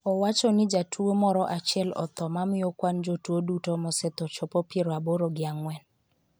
owacho ni jatuo moro achiel otho mamiyo kwan jotuo duto mosetho chopo piero aboro gi ang'wen